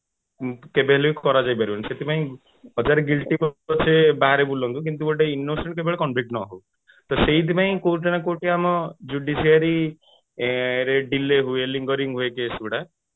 କେବେ ହେଲେ କରାଯାଇ ପାରିବ ନାହିଁ ସେଥିପାଇଁ ହଜାରେ guilty ପଛେ ବାହାରେ ବୁଲନ୍ତୁ କିନ୍ତୁ ଗୋଟେ innocent କେବେ convict ନ ହଉ ତ ସେଇଥି ପାଇଁ କୋଉଠି ନା କୋଉଠି ଆମ ଆଁ judiciary ରେ ଆଁ delay ହୁଏ lingering ହୁଏ case ଗୁଡା